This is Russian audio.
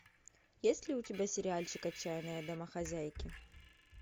есть ли у тебя сериальчик отчаянные домохозяйки